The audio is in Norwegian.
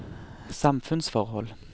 samfunnsforhold